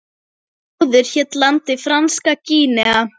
Áður hét landið Franska Gínea.